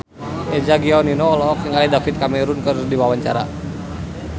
Eza Gionino olohok ningali David Cameron keur diwawancara